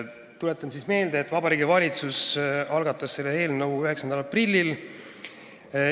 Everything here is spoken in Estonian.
Tuletan meelde, et Vabariigi Valitsus algatas selle eelnõu 9. aprillil.